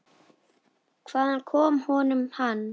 Hvaðan kom honum hann?